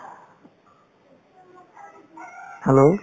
hello